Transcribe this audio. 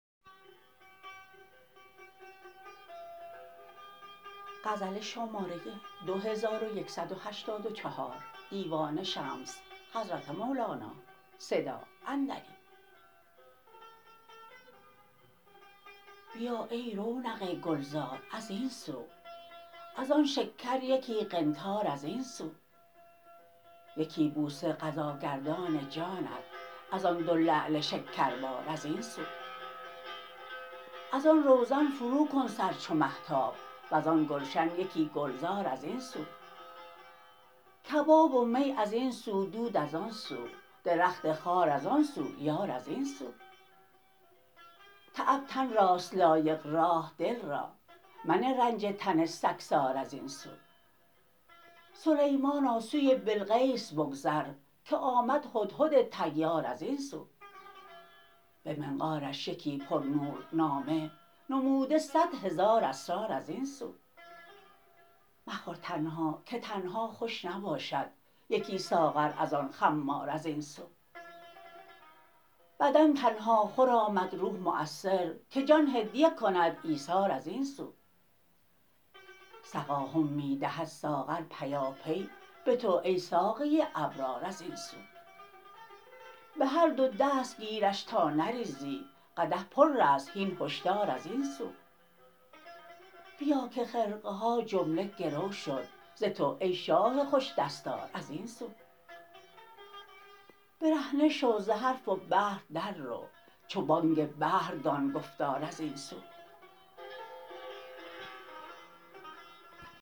بیا ای رونق گلزار از این سو از آن شکر یکی قنطار از این سو یکی بوسه قضاگردان جانت از آن دو لعل شکربار از این سو از آن روزن فروکن سر چو مهتاب وزان گلشن یکی گلزار از این سو کباب و می از این سو دود از آن سو درخت خار از آن سو یار از این سو تعب تن راست لایق راح دل را منه رنج تن سگسار از این سو سلیمانا سوی بلقیس بگذر که آمد هدهد طیار از این سو به منقارش یکی پرنور نامه نموده صد هزار اسرار از این سو مخور تنها که تنها خوش نباشد یکی ساغر از آن خمار از این سو بدن تنهاخور آمد روح مؤثر که جان هدیه کند ایثار از این سو سقاهم می دهد ساغر پیاپی به تو ای ساقی ابرار از این سو به هر دو دست گیرش تا نریزی قدح پر است هین هشدار از این سو بیا که خرقه ها جمله گرو شد ز تو ای شاه خوش دستار از این سو برهنه شو ز حرف و بحر در رو چو بانگ بحر دان گفتار از این سو